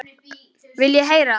Viljið þið heyra?